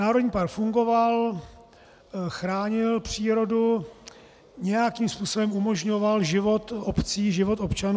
Národní park fungoval, chránil přírodu, nějakým způsobem umožňoval život obcí, život občanů.